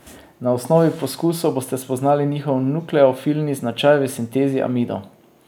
Na osnovi poskusov boste spoznali njihov nukleofilni značaj v sintezi amidov.